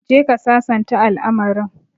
Go and resolve the issue